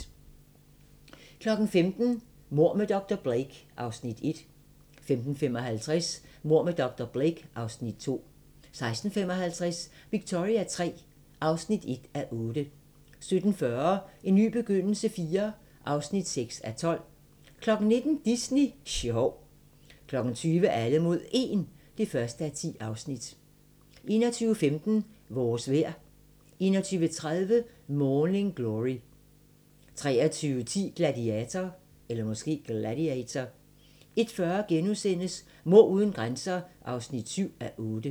15:00: Mord med dr. Blake (Afs. 1) 15:55: Mord med dr. Blake (Afs. 2) 16:55: Victoria III (1:8) 17:40: En ny begyndelse IV (6:12) 19:00: Disney sjov 20:00: Alle mod 1 (1:10) 21:15: Vores vejr 21:30: Morning Glory 23:10: Gladiator 01:40: Mord uden grænser (7:8)*